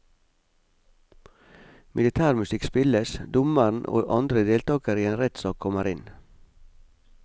Militærmusikk spilles, dommeren og andre deltakere i en rettsak kommer inn.